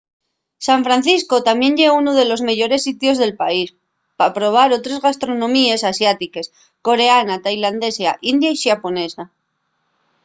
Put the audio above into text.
san francisco tamién ye unu de los meyores sitios del país pa probar otres gastronomíes asiátiques coreana tailandesa india y xaponesa